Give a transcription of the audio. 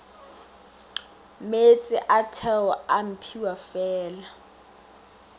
meetse a theo a mphiwafela